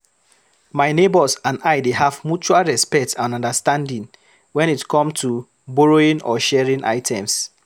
My neighbors and I dey have mutual respect and understanding when it come to borrowing or sharing items.